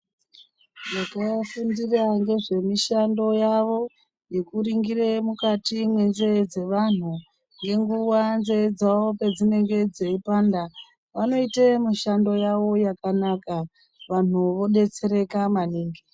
Vanofundira ngezvemishando yavo yekuringire mukati menzee dzeantu ngenguva nzee dzavo pedzinenge dzeipanda. Vanoite mishando yavo yakanaka vantu vobetsereka maningi.